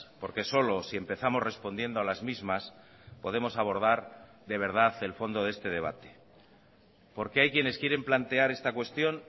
porque solo si empezamos respondiendo a las mismas podemos abordar de verdad el fondo de este debate porque hay quienes quieren plantear esta cuestión